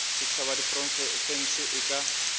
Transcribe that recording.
setšhaba ya diprofense e ka